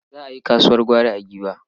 Za a yi kasuwar gwari a Giwa.